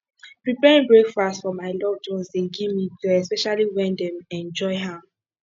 preparing breakfast for my loved ones dey give me joy especially when dem enjoy am